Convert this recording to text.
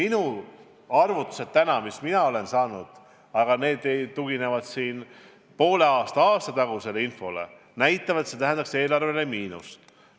Need arvutused, mis mina olen saanud, tuginevad poole aasta või aasta tagusele infole ja näitavad, et see tähendaks eelarvele miinust.